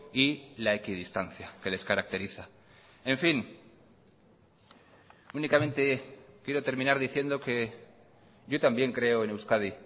y la equidistancia que les caracteriza en fin únicamente quiero terminar diciendo que yo también creo en euskadi